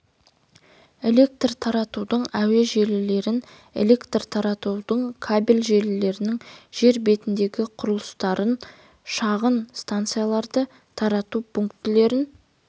электр таратудың әуе желілерін электр таратудың кабель желілерінің жер бетіндегі құрылыстарын шағын станцияларды тарату пункттерін